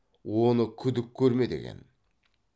оны күдік көрме деген